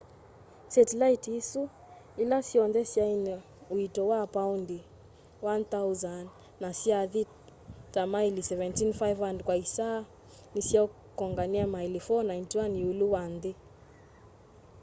setilaiti isu ĩla syonthe syaĩna ũĩto wa paondĩ 1,000 na syathi ta maili 17,500 kwa ĩsaa nĩsyakonganie maili 491 ĩũlũ wa nthĩ